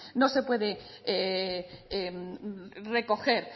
no se puede recoger